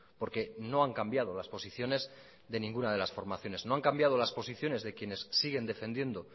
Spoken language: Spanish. porque no han cambiado las posiciones de ninguna de las formaciones no han cambiado las posiciones de quienes siguen defendiendo